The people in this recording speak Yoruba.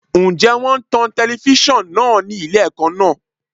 Ǹjẹ́ wón ń tan telifíṣàn náà ni ilé ẹ̀kọ́ náà?